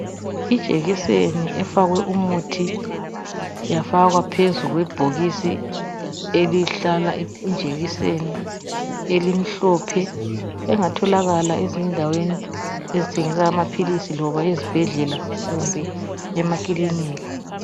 ijekiseni efakwe umuthi yafakwa phezu kwebhokisi elihlala injekiseni elimhlophe engatholakala ezindaweni ezithengisa amaphilisi loba ezibhedlela kumbe emakilinika